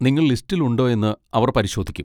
നിങ്ങൾ ലിസ്റ്റിൽ ഉണ്ടോ എന്ന് അവർ പരിശോധിക്കും.